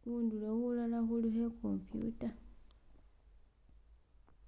khundulo hulala khulikho e'computer.